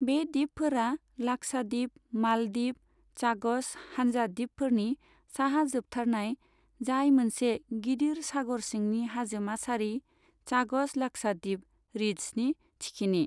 बे दिपफोरा लाखसादिप मालदिप चागस हानजा दिपफोरनि साहा जोबथारनाय, जाय मोनसे गिदिर सागर सिंनि हाजोमा सारि, चागस लाखसादिप रिद्जनि थिखिनि।